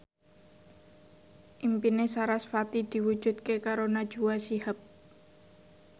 impine sarasvati diwujudke karo Najwa Shihab